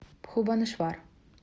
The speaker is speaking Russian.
бхубанешвар